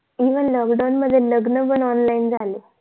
evenlokdown मध्ये लग्न पण online झाले.